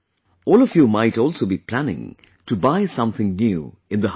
All of you might also be planning to buy something new in the household